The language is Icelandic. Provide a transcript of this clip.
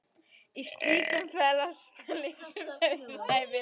Í slíku felast lífsins auðæfi.